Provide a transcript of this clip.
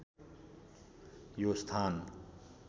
यो स्‍थान